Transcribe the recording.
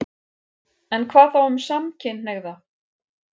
En hvað þá um samkynhneigða?